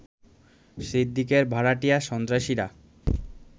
সিদ্দিকের ভাড়াটিয়া সন্ত্রাসীরা